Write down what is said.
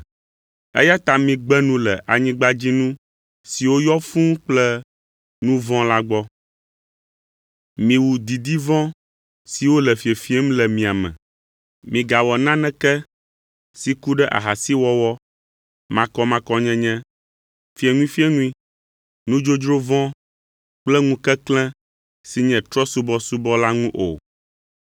Eya ta migbe nu le anyigbadzinu siwo yɔ fũu kple nu vɔ̃ la gbɔ; miwu didi vɔ̃ siwo le fiefiem le mia me. Migawɔ naneke si ku ɖe ahasiwɔwɔ, makɔmakɔnyenye, fieŋuifieŋui, nudzodzro vɔ̃ kple ŋukeklẽ si nye trɔ̃subɔsubɔ o.